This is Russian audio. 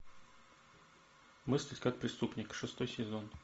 мыслить как преступник шестой сезон